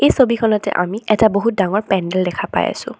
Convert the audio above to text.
ছবিখনতে আমি এটা বহুত ডাঙৰ পেণ্ডেল দেখা পাই আছোঁ।